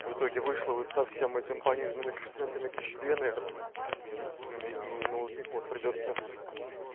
в итоге вышло вот со всем этим пониженными коэффициентами тысячи две наверное в сумме и ну вот вот придётся